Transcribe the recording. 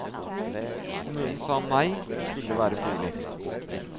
Kommunen sa nei, det skulle være bolig.